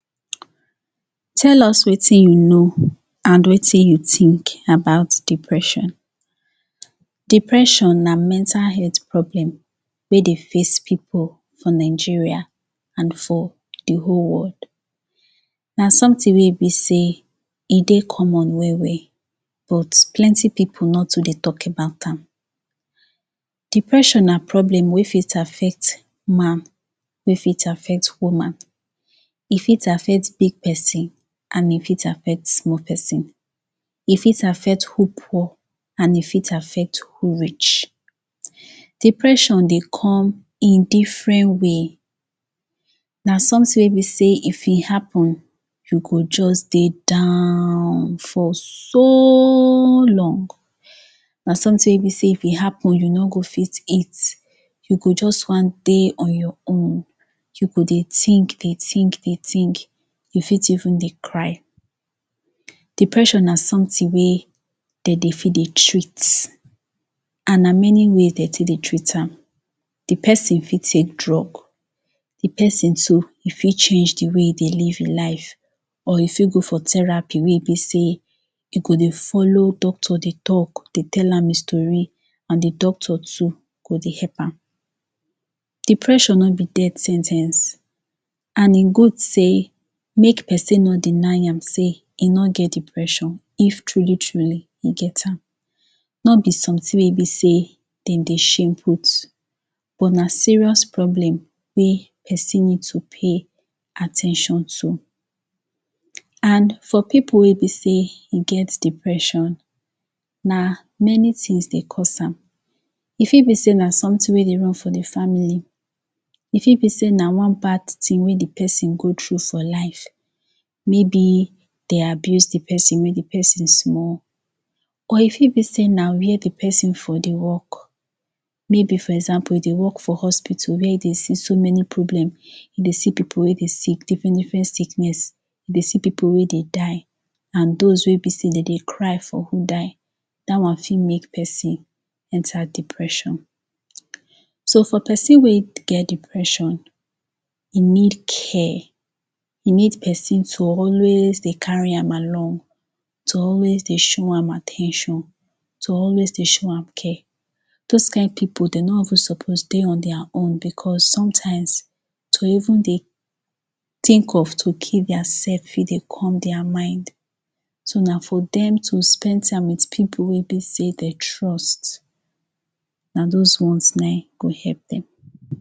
Tell us wetin you know and wetin you think about depression Depression na mental health problem wey dey face people for Nigeria and for di whole world Na something wey be sey e dey common well well but plenty people no too dey talk about am. Depression na problem wey fit affect man, e fit affect woman, e fit affect big person, e fit affect small person, e fit affect who poor, and e fit affect who rich. Depression dey come in different way Na something wey be sey if e happen, you go just dey down for soooo long na something wey be sey if e happen, you no go fit eat, you go just wan dey on your own dey think dey think dey think, you fit even dey cry Depression na something wey dem dey fit dey treat, and na many ways dem dey fit dey treat am Di person fit take drugs, e fit change di way e dey live e life, or if fit go therapy wey besey e go dey follow doctor dey talk, dey tell am e story, and di doctor too go dey help am Depression no be death sen ten ce, and e good sey make person no deny am sey e nor get depressed if truly truly, e get am Nor be something wey be sey dem dey shame put, but na serious problem wey person need to pay at ten tion to And for people wey be sey dem get depression, na many things dey cause am E fit be sey na something wey dey run for di family, e fit be sey na one bad thing wey the person go through for life, maybe dem abuse the person wen di person small, or e fit be sey na where di person for dey work, maybe for example e dey work for hospital wey e dey see so many problem, e dey see people wey dey sick, different different sickness, e dey see people wey dey die and those wey be sey dem dey cry for who die. That one fit make person enter depression So for person wey get depression, e need care, e need person to always dey carry am along, to always dey show am at ten tion, to always dey show am care those kind people, dem no even suppose dey on their own because sometimes, dem even dey think of to kill their self, e dey come their mind So na for dem to spend time with people wey be sey dem trust, na those ones go help dem